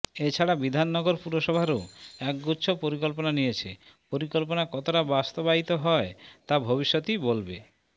এছাড়া বিধাননগর পুরসভারও একগুচ্ছ পরিকল্পনা নিয়েছে পরিকল্পনা কতটা বাস্তবায়িত হয় তা ভবিষ্যতই বলবে